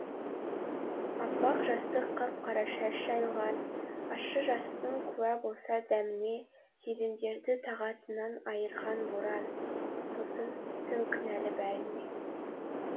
аппақ жастық қап қара шаш жайылған ащы жастың куә болса дәміне сезімдерді тағатынан айырған боран сосын түн кінәлі бәріне